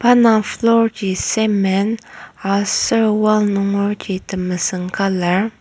pa indang floor ji cement aser wall nungerji temesüng colour.